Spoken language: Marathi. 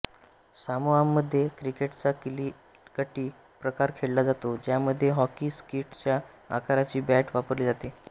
सामोआमध्ये क्रिकेटचा किलीकिटी प्रकार खेळला जातो ज्यामध्ये हॉकी स्टिकच्या आकाराची बॅट वापरली जाते